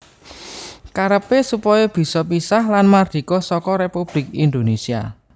Karepé supaya bisa pisah lan mardika saka Républik Indonésia